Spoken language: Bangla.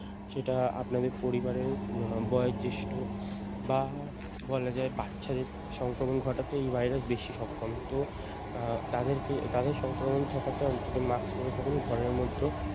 সেটা আপনাদের পরিবারের উম আহ বয়োজ্যেষ্ঠ বা বলা যায় বাচ্চাদের সংক্রমন ঘটাতে এই ভাইরাস বেশি সক্ষম তো আহ তাদেরকে তাদের সংক্রমণ ঠেকাতে অন্তত মাস্ক পরে থাকুন ঘরের মধ্যেও ।